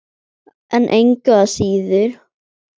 En engu að síður.